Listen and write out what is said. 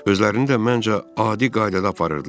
Özlərini də, məncə, adi qaydada aparırdılar.